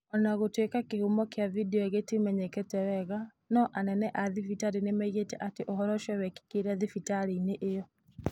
O na gũtuĩka kĩhumo kĩa vidio ĩyo gĩtiamenyekete wega, no anene a thibitarĩ nĩ moigĩte atĩ ũhoro ũcio wekĩkire thibitarĩ-inĩ ĩyo.